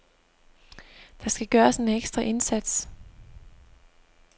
Der skal gøres en ekstra indsats.